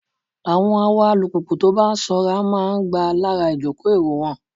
Àwọn awa alùpùpù tó bá sanra máa ń gbà lára ìjòkó èrò wọn.